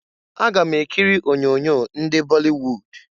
Aga m ekiri onyoonyo ndị bọlịwud.